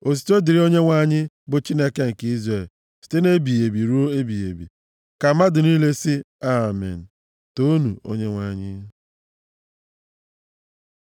Otuto dịrị Onyenwe anyị, bụ Chineke nke Izrel, site nʼebighị ebi ruo ebighị ebi. Ka mmadụ niile sị, “Amen!” Toonu Onyenwe anyị.